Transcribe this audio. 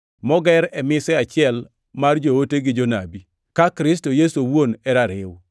moger e mise achiel mar joote gi jonabi; ka Kristo Yesu owuon e rariw.